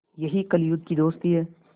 यही कलियुग की दोस्ती है